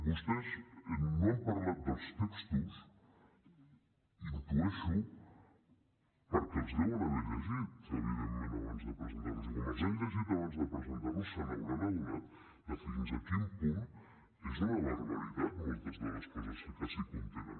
vostès no han parlat dels textos ho intueixo perquè els deuen haver llegit evidentment abans de presentar los i com que els han llegit abans de presentar los se’n deuen haver adonat de fins a quin punt són una barbaritat moltes de les coses que s’hi contenen